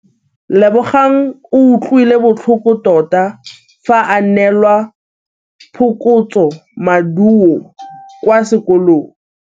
Lebogang o utlwile botlhoko tota fa a neelwa phokotsômaduô kwa sekolong.